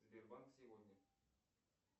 сбербанк сегодня